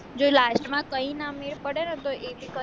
જો last માં કઈ ના મેલ પડે ને તો